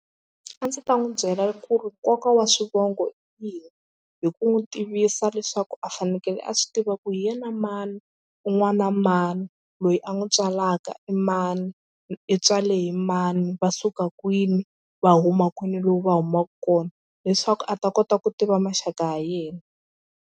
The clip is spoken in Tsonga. A ndzi ta n'wi byela ku ri nkoka wa swivongo i yini hi ku n'wi tivisa leswaku a fanekele a swi tiva ku hi yena mani u n'wana na mani loyi a n'wi n'wi tswalaka i mani i tswale hi mani va suka kwini va huma kwini lowu va humaka kona leswaku a ta kota ku tiva maxaka ya yena.